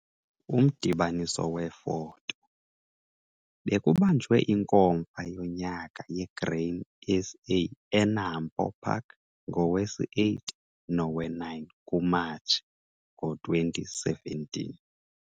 Umdibaniso weefoto- Bekubanjwe iNkomfa yonyaka yeGrain SA eNAMPO Park ngowesi-8 nowe-9 kuMatshi ngo-2017.